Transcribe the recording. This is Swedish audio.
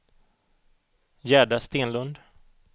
Gerda Stenlund